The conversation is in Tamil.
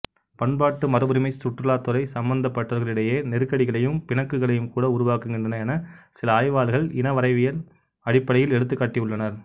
பண்பாட்டு மரபுரிமைச் சுற்றுலாத்துறை சம்பந்தப்பட்டவர்களிடையே நெருக்கடிகளையும் பிணக்குகளையும் கூட உருவாக்குகின்றன எனச் சில ஆய்வாளர்கள் இனவரைவியல் அடிப்படையில் எடுத்துக்காட்டி உள்ளனர்